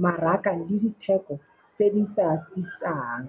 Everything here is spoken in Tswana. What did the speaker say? mmaraka le ditheko tse di sa tisang.